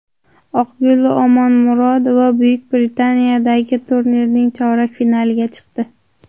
Oqgul Omonmurodova Buyuk Britaniyadagi turnirning chorak finaliga chiqdi.